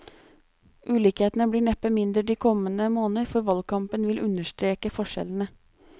Ulikhetene blir neppe mindre de kommende måneder, for valgkampen vil understreke forskjellene.